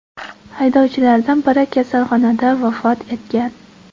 Haydovchilardan biri kasalxonada vafot etgan.